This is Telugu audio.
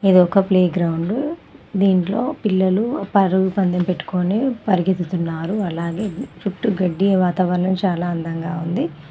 ఇది ఒక ప్లేగ్రౌండ్ దీంట్లో పిల్లలు పరుగు పందెం పెట్టుకొని పరిగెత్తుతున్నారు అలాగే చుట్టూ గడ్డి వాతావరణం చాలా అందంగా ఉంది.